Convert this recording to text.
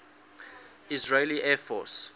israeli air force